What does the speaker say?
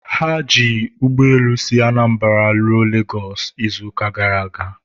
ha ji ụgbọelu si Anambra ruo Lagos izuụka gara aga